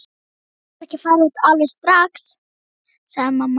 Þú getur ekki farið út alveg strax, sagði mamma.